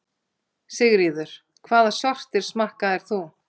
Sigríður: Hvaða sortir smakkaðir þú?